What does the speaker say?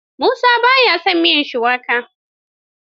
Musa ba ya son miyar shuwaka.